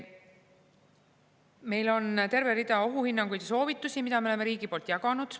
Meil on terve rida ohuhinnanguid ja soovitusi, mida riik on jaganud.